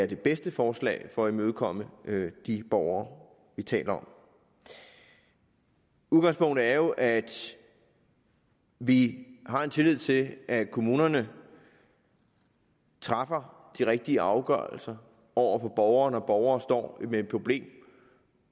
det bedste forslag for at imødekomme de borgere vi taler om udgangspunktet er jo at vi har tillid til at kommunerne træffer de rigtige afgørelser over for borgere når borgere står med et problem